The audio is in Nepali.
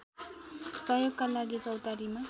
सहयोगका लागि चौतारीमा